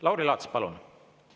Lauri Laats, palun!